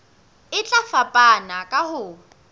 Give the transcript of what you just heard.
e tla fapana ka ho